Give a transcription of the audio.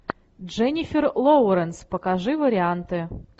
дженнифер лоуренс покажи варианты